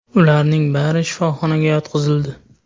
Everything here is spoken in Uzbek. Ularning bari shifoxonaga yotqizildi.